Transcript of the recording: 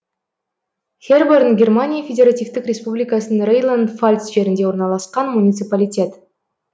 херборн германия федеративтік республикасының рейнланд фальц жерінде орналасқан муниципалитет